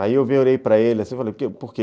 Aí eu para ele e falei, por quê?